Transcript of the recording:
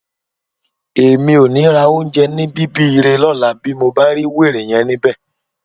Èmi ò ní ra oúnjẹ ní Bíbiré lọ́la bí mo bá rí wèrè yẹn níbẹ̀